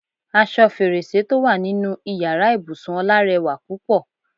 Aṣọ fèrèsé tó wà nínú ìyára ibùsùn Ọlá rẹwà púpọ̀.